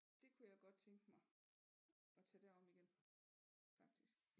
Det kunne jeg godt tænke mig at tage derom igen faktisk